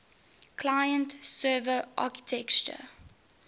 client server architecture